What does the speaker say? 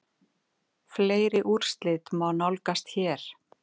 Fleiri úrslit má nálgast hér